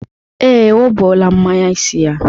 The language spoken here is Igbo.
Ee, o buola mnanye isi ya.